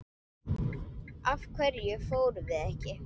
Af hverju fórum við ekki?